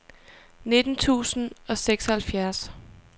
nitten tusind og seksoghalvfjerds